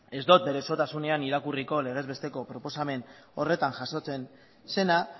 ez dot bere osotasunean irakurriko legez besteko proposamen horretan jasotzen zena